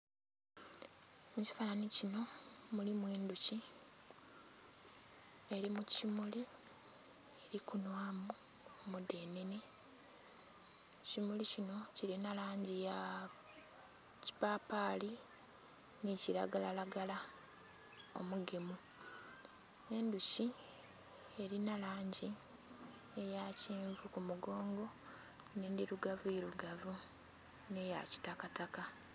Mu kifananhi kinho mulimu endhoki eri mu kimuli eri kunhwamu omudhenene, ekimuli kinho kilinha langi ya kipapali nhi kilagala lagala omugemu. Endhuki erinha langi eya kyenvu ku mugongo nhe endhirugavu irugavu nhe ya kitakataka.